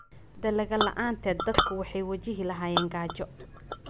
Dalagga la'aanteed, dadku waxay wajihi lahaayeen gaajo.